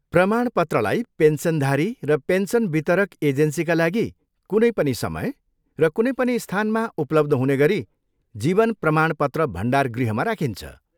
प्रमाणपत्रलाई पेन्सनधारी र पेन्सन वितरक एजेन्सीका लागि कुनै पनि समय र कुनै पनि स्थानमा उपलब्ध हुने गरी जीवन प्रमाणपत्र भण्डारगृहमा राखिन्छ।